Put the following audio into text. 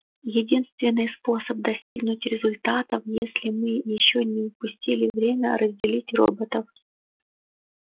единственный способ достигнуть результатов если мы ещё не упустили время разделить роботов